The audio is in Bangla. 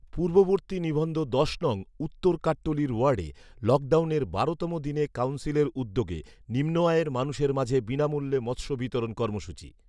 পূর্ববর্তী নিবন্ধ দশ নং উওর কাট্টলীর ওর্য়াডে লকডাউনের বারো তম দিনে কাউন্সিলের উদ্যোগে নিম্নআয়ের মানুষের মাঝে বিনামূল্যে মৎস্য বিতরণ কর্মসূচি